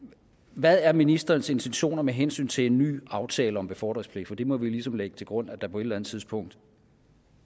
hvad er ministerens intentioner med hensyn til en ny aftale om befordringspligt for det må vi ligesom lægge til grund at der på et eller andet tidspunkt